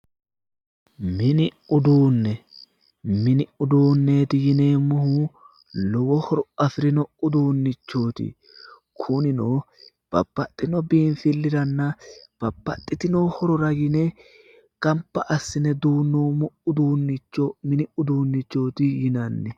Mini uduunne, mini uduuneti yineemohu lowo horo afirinno uduunichooti. kuninno babbaxinno biifiliranna babbaxitinno horora yine ganba assine duunoomo uduunicho mini uduunichooti yinanni.